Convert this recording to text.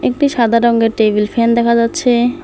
একটি সাদা রঙ্গের টেবিল ফ্যান দেখা যাচ্ছে।